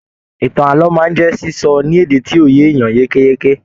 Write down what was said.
Ìtàn ààlọ́ máa n jẹ sísọ ní èdè tí yóò yé ènìyàn yékéyéké